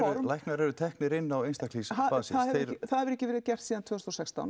læknar eru teknir inn á einstaklings basis það hefur ekki verið gert síðan tvö þúsund og sextán